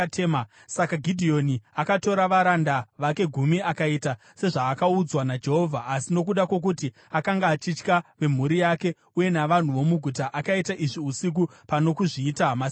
Saka Gidheoni akatora varanda vake gumi akaita sezvaakaudzwa naJehovha. Asi nokuda kwokuti akanga achitya vemhuri yake uye navanhu vomuguta, akaita izvi usiku pano kuzviita masikati.